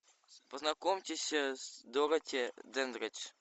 познакомьтесь с дороти дендридж